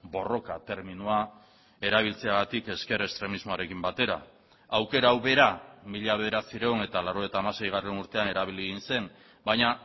borroka terminoa erabiltzeagatik ezker estremismoarekin batera aukera hau bera mila bederatziehun eta laurogeita hamasei urtean erabili egin zen baina